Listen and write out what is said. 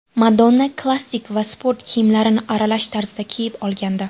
Madonna klassik va sport kiyimlarini aralash tarzda kiyib olgandi.